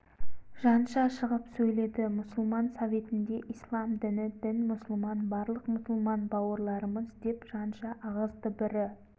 жанша шығып сөйледі мұсылман советінде ислам діні дін мұсылман барлық мұсылман бауырларымыз деп жанша ағызды бірі